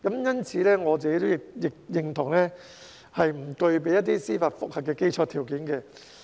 因此，我亦認同不具備司法覆核的基礎條件。